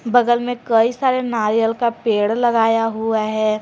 बगल में कई सारे नारियल का पेड़ लगाया हुआ है।